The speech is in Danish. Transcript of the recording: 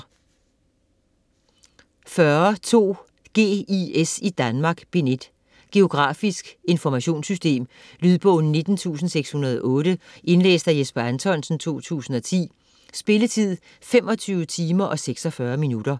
40.2 GIS i Danmark: Bind 1 Geografisk informationssystem. Lydbog 19608 Indlæst af Jesper Anthonsen, 2010. Spilletid: 25 timer, 46 minutter.